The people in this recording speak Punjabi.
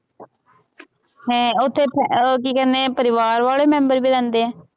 ਹੈਂ, ਉੱਥੇ ਅਹ ਉਹ ਕੀ ਕਹਿੰਦੇ ਆ ਪਰਿਵਾਰ ਵਾਲੇ ਮੈਂਬਰ ਵੀ ਰਹਿੰਦੇ ਹੈ,